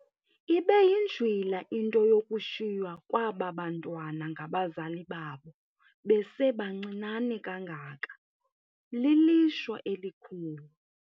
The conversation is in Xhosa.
Ibe yinjwila into yokushiywa kwaba bantwana ngabazali babo besebancinane kangaka, lilishwa elikhulu.